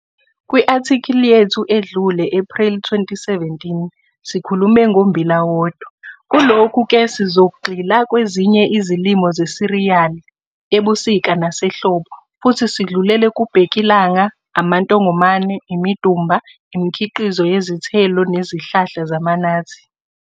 Kwi -athikhili yethu edlule, Ephreli 2017, sikhulume ngommbila wodwa. Kulokhu ke sizogxila kwezinye izilimo zesiriyali, ebusika nasehlobo, Futhi sidlulele kubhekilanga, amantongomane, imidumba, imikhiqizo yezithelo nezihlahla zama-nathi.